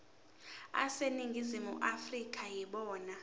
aseningizimu afrika yibona